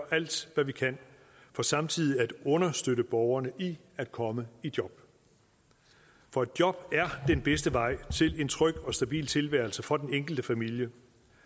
alt hvad vi kan for samtidig at understøtte borgerne i at komme i job for et job er den bedste vej til en tryg og stabil tilværelse for den enkelte familie